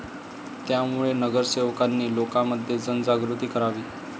त्यामुळे नगरसेवकांनी लोकांमध्ये जनजागृती करावी.